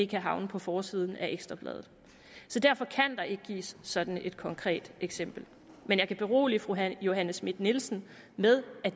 kan havne på forsiden af ekstra bladet så derfor kan der ikke gives sådan et konkret eksempel men jeg kan berolige fru johanne schmidt nielsen med at